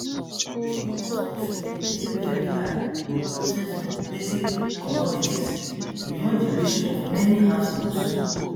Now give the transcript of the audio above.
di cost of living dey veri high wit prices of basic commodities beyond di reach of many households